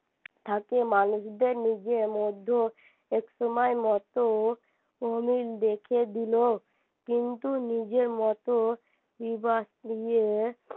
থাকে মানুষদের নিজের মধ্যে একসময় মত অমিল দেখে দিলো কিন্তু নিজের মতো